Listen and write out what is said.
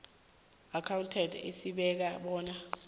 accountant esibeka bona